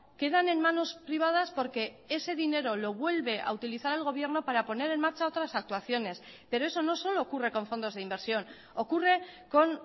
quedan en manos privadas porque ese dinero lo vuelve a utilizar el gobierno para poner en marcha otras actuaciones pero eso no solo ocurre con fondos de inversión ocurre con